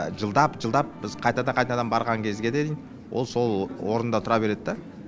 жылдап жылдап біз қайтадан қайтадан барған кезге дейін ол сол орнында тұра береді да